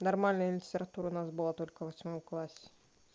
нормальная литература у нас было только в восьмом классе